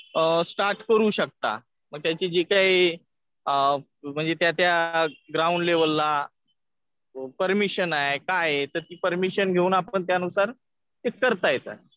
Start करू शकता. मग त्याची जी काय अ म्हणजे त्या त्या ग्राउंड लेवलला परमिशन आहे काय आहे तर आपण ती परमिशन घेऊन ते त्यानुसार करता येतं.